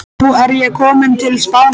Nú er ég kominn til Spánar.